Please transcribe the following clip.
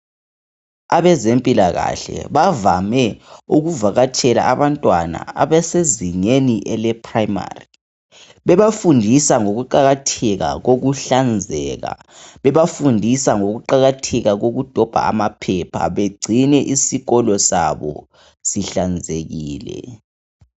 Abezempilakahle bavame ukuvakatshela abantwana abesezingeni leprimary bebafundisa ngokuqakatheka kokuhlanzeka bebafundisa ngokuqakatheka kokudomba amaphepha bengcine isikolo sabo sihlanzekile.